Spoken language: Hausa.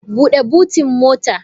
Bude botin mota!